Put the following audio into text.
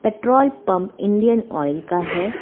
Petrol pump Indian Oil का है।